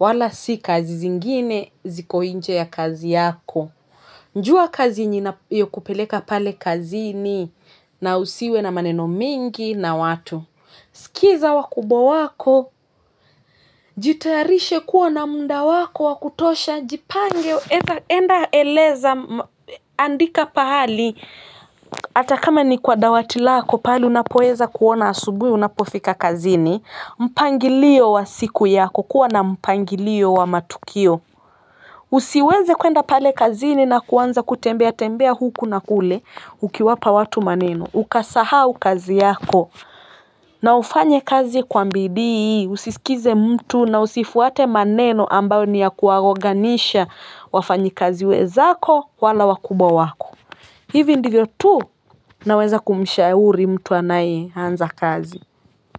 wala si kazi zingine ziko nje ya kazi yako. Jua kazi inayokupeleka pale kazini na usiwe na maneno mingi na watu. Sikiza wakubwa wako, jitayarishe kuwa na muda wako wa kutosha, jipange, enda eleza, andika pahali, hatakama ni kwa dawati lako, pahali unapoweza kuona asubuhi unapofika kazini, mpangilio wa siku yako, kuwa na mpangilio wa matukio. Usiweze kwenda pale kazini na kuanza kutembea tembea huku na kule ukiwapa watu maneno ukasahau kazi yako na ufanye kazi kwa bidii, usisikize mtu na usifuate maneno ambayo ni ya kuwaoganisha wafanyakazi wenzako wala wakubwa wako hivi ndivyo tu naweza kumshauri mtu anaye anza kazi.